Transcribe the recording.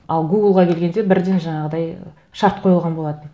ал гуглға келгенде бірден жаңағыдай шарт қойылған болатын